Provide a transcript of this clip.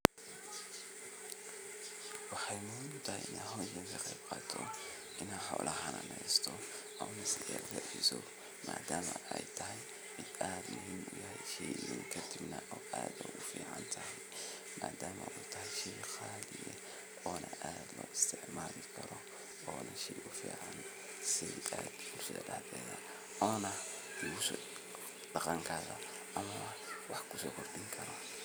shegan waa qaro qaraahasoo waxaa loo beera dhul aad iyo aad ufican caradiisa nah ay fican tahay carra qoyaan leh waxaa nah waxaan loga helaa dhulkaasi jubooyinka hoose ama shabeelada iyo dhulalka somaalida